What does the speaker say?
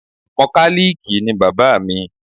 Mọkálíìkì ni bàbá mi